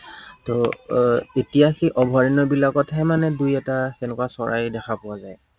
ত আহ এতিয়া সেই অভয়াৰণ্য়বিলাকতহে মানে দুই এটা সেনেকুৱা চৰাই দেখা পোৱা যায়।